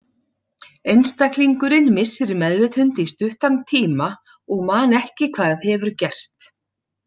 Einstaklingurinn missir meðvitund í stuttan tíma og man ekki hvað hefur gerst.